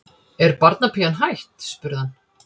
Er barnapían hætt? spurði hann.